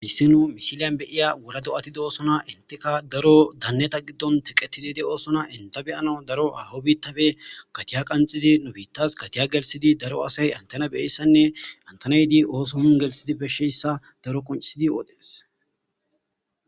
issi nu misiliyan beyiya wola do7atidi oosona inteka daro danneta giddon teqetidide oosona inta beyano daro aawo biittabe gatiya qanxidi nu biittas katiya gelsidi daro asay antena beyeyssanne antanaydi ooson gelsidi beshsheyssa daro qoncisidi oohdhees